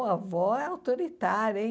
A avó é autoritária hein.